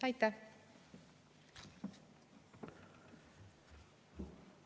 Aitäh!